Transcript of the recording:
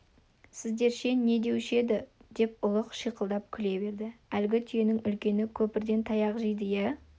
сіздерше не деуші еді деп ұлық шиқылдап күле берді әлгі түйенің үлкені көпірден таяқ жейді иә